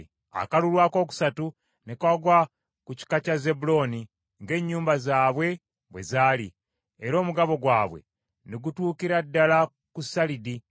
Akakulu akookusatu ne kagwa ku kika kya Zebbulooni, ng’ennyumba zaabwe bwe zaali. Era n’omugabo gwabwe ne gutuukira ddala ku Salidi.